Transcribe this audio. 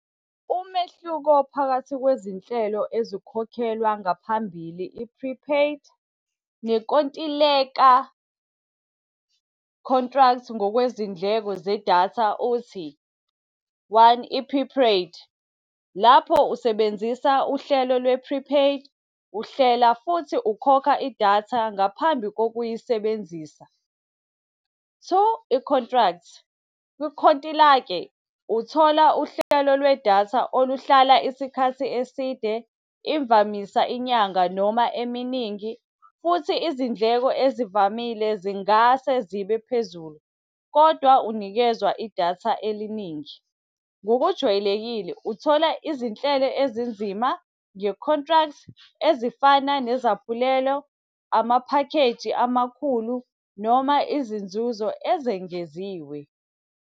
Umehluko phakathi kwezinhlelo ezikhokhelwa ngaphambili, i-prepaid, nenkontileka, contract, ngokwezindleko zedatha, uthi, one i-prepaid. Lapho usebenzisa uhlelo lwe-prepaid, uhlela futhi ukhokha idatha ngaphambi kokuyisebenzisa. Two, i-contract, kwikhontilake uthola uhlelo lwedatha oluhlala isikhathi eside, imvamisa inyanga noma eminingi futhi izindleko ezivamile zingase zibe phezulu, kodwa unikezwa idatha eliningi. Ngokujwayelekile uthola izinhlelo ezinzima nge-contract, ezifana nezaphulelo, amaphakheji amakhulu, noma izinzuzo ezengeziwe.